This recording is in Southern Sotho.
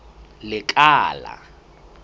lekala